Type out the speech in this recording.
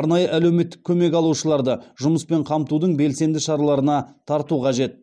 арнайы әлеуметтік көмек алушыларды жұмыспен қамтудың белсенді шараларына тарту қажет